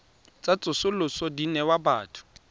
tsa tsosoloso di newa batho